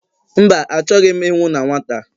Mba, achọghị m ịnwụ na nwata